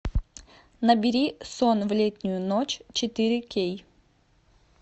набери сон в летнюю ночь четыре кей